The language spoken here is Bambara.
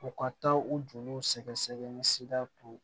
U ka taa u joliw sɛgɛsɛgɛ ni sira to